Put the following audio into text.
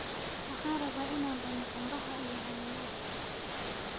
Waxaan rabaa inaan cuno canbaha iyo cananaaska